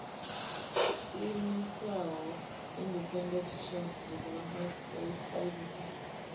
ḓiimisaho independent trust development idt